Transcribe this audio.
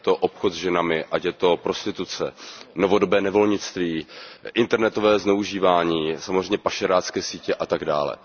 Ať je to obchod se ženami, ať je to prostituce, novodobé nevolnictví, internetové zneužívání, samozřejmě pašerácké sítě a tak dále.